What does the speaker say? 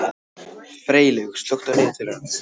Freylaug, slökktu á niðurteljaranum.